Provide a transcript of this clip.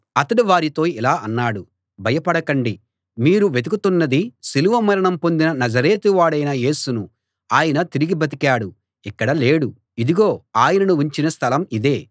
అతడు వారితో ఇలా అన్నాడు భయపడకండి మీరు వెతుకుతున్నది సిలువ మరణం పొందిన నజరేతువాడైన యేసును ఆయన తిరిగి బతికాడు ఇక్కడ లేడు ఇదిగో ఆయనను ఉంచిన స్థలం ఇదే